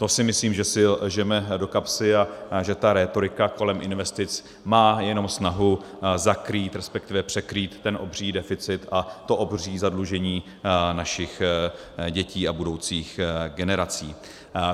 To si myslím, že si lžeme do kapsy a že ta rétorika kolem investic má jenom snahu zakrýt, respektive překrýt ten obří deficit a to obří zadlužení našich dětí a budoucích generací.